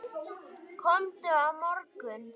Komdu á morgun.